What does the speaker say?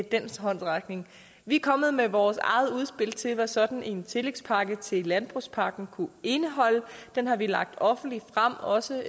den håndsrækning vi er kommet med vores eget udspil til hvad sådan en tillægspakke til landbrugspakken kunne indeholde den har vi lagt offentligt frem også